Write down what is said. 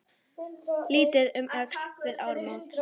Litið um öxl við áramót.